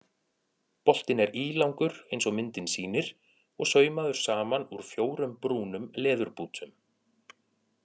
Boltinn er ílangur eins og myndin sýnir og saumaður saman úr fjórum brúnum leðurbútum.